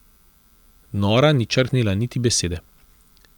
Nora ni črhnila niti besede.